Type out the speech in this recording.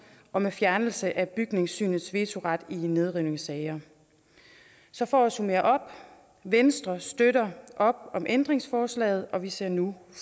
om fjernelse af bygningssynets vetoret i nedrivningssager så for at summere op venstre støtter op om ændringsforslaget og vi ser nu